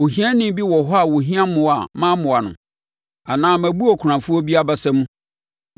“Ohiani bi wɔ hɔ a ɔhia mmoa a mammoa no? Anaa mabu akunafoɔ bi abasa mu?